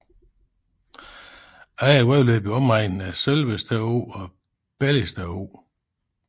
Andre vandløb i omegnen er Sølvested Å og Belligsted Å